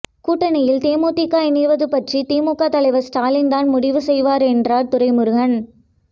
கூட்டணியில் தேமுதிக இணைவது பற்றி திமுக தலைவர் ஸ்டாலின் தான் முடிவு செய்வார் என்றார் துரைமுருகன்